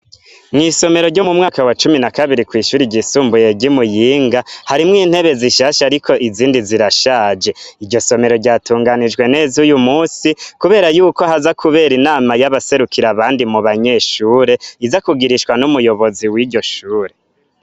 Mw'isomero ryo mu mwaka wa cumi na kabiri kw'ishuri ryisumbuye ry'i Muyinga harimwo intebe zishasha ariko izindi zirashaje iryo somero ryatunganijwe neza uyu munsi kubera yuko haza kubera inama y'abaserukire abandi mu banyeshure iza kugirishwa n'umuyobozi w'iryo shure.